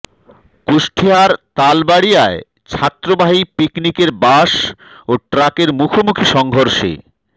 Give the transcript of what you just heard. কুষ্টিয়ার তালবাড়ীয়ায় যাত্রীবাহী পিকনিকের বাস ও ট্রাকের মুখোমুখি সংঘর্ষে